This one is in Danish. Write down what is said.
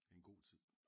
En god tid